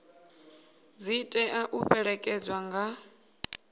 dzi tea u fhelekedzwa nga